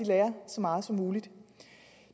lærer så meget som muligt